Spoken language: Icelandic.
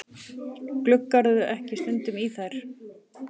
Gluggarðu ekki stundum í þær?